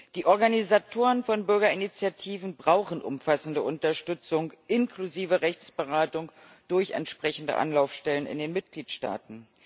Die Organisatoren von Bürgerinitiativen brauchen umfassende Unterstützung, inklusive Rechtsberatung durch entsprechende Anlaufstellen in den Mitgliedsstaaten.